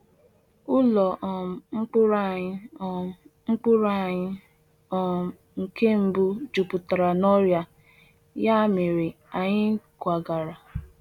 Ụlọ um mkpụrụ anyị um mkpụrụ anyị um nke mbụ jupụtara na ọrịa, ya mere anyị kwagara.